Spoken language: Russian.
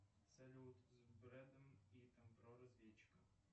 салют с бредом питтом про разведчиков